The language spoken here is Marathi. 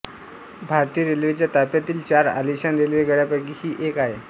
भारतीय रेल्वेच्या ताफ्यातील चार आलिशान रेल्वेगाड्यांपैकी ही एक आहे